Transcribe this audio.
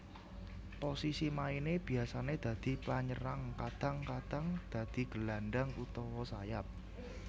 Posisi maine biasane dadi penyerang kadang kadang dadi gelandang utawa sayap